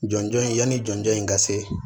Jɔnjɔn in yanni jɔnjɔn in ka se